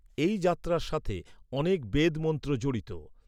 এই যাত্রার সাথে অনেক বেদ মন্ত্র জড়িত।